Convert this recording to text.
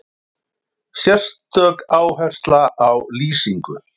Sérstök áhersla á lýsingu.